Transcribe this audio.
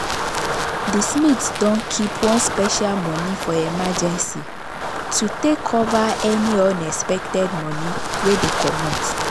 the smiths don keep one special money for emergency to take cover any unexpected money wey dey comot.